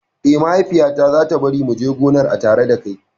Eh, Mahaifiya ta za ta bari mu je gonar a tare dakai